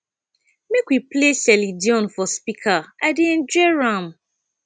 make we play celine dion for speaker i dey enjoy am